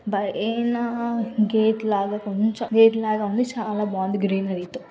బహేనా gate లాగా కొంచెం gate లాగా ఉంది .చాలా బాగుంది గ్రీనరీ తో